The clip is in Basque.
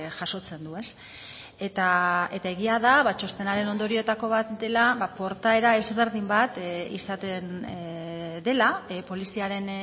jasotzen du eta egia da txostenaren ondorioetako bat dela portaera ezberdin bat izaten dela poliziaren